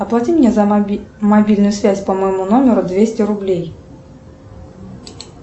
оплати мне за мобильную связь по моему номеру двести рублей